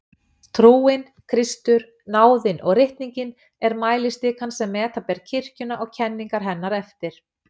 Trúin, Kristur, náðin og ritningin er mælistikan sem meta ber kirkjuna og kenningar hennar eftir.